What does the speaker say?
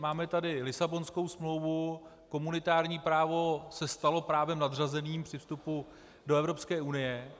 Máme tady Lisabonskou smlouvu, komunitární právo se stalo právem nadřazeným při vstupu do Evropské unie.